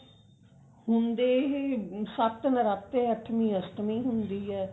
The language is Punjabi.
ਹੁੰਦੇ ਇਹ ਸੱਤ ਨਰਾਤੇ ਅੱਠਵੀੰ ਅਸ਼ਟਮੀ ਹੁੰਦੀ ਹੈ